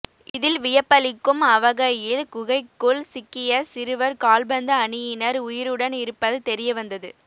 இதில் வியப்பளிக்கும் அவகையில் குகைக்குள் சிக்கிய சிறுவர் கால்பந்து அணியினர் உயிருடன் இருப்பது தெரியவந்தது